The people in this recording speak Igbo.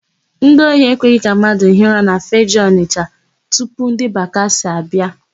Ndị ohi ekweghị mmadụ hie ụra na Fegee, Ọnịsha tupu ndị bakasị abịa.